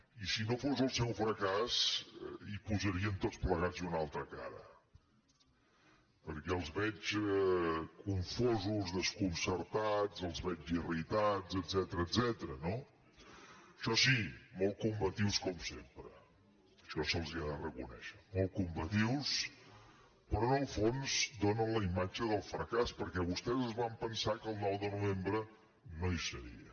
i si no fos el seu fracàs hi posarien tots plegats una altra cara perquè els veig confosos desconcertats els veig irritats etcètera no això sí molt combatius com sempre això se’ls ha de reconèixer molt combatius però en el fons donen la imatge del fracàs perquè vostès es van pensar que el nou de novembre no hi seria